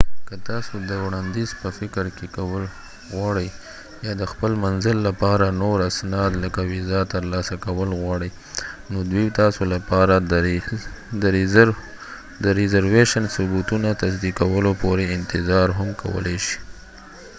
که تاسو د وړاندیز په فکر کول غواړئ یا د خپل منزل لپاره نور اسناد لکه ویزا ترلاسه کول غواړئ، نو دوی تاسو لپاره د رېزروېشن ثبتونه تصدیقولو پورې انتظار هم کولې شي